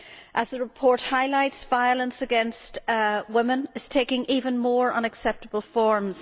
As the report highlights, violence against women is taking ever more unacceptable forms.